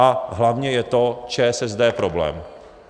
A hlavně je to ČSSD problém.